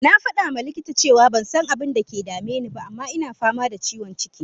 Na fada ma likita cewa ban san abinda ke dame ni ba, amma ina fama da ciwon ciki.